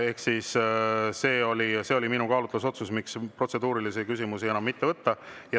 Ehk see oli minu kaalutlusotsus, miks protseduurilisi küsimusi enam mitte võtta.